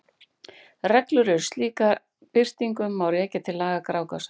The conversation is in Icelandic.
Reglur um slíka birtingu má rekja til laga Grágásar.